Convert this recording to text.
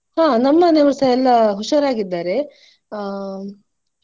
ಹಾ ನಮ್ಮ್ ಮನೆಯವರುಸ ಎಲ್ಲಾ ಹುಷಾರಾಗಿದ್ದಾರೆ ಆಹ್.